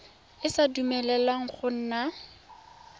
e sa dumeleleng go nna